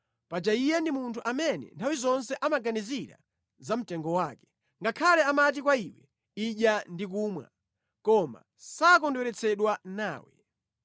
paja iye ndi munthu amene nthawi zonse amaganizira za mtengo wake ngakhale amati kwa iwe, “Idya ndi kumwa,” koma sakondweretsedwa nawe.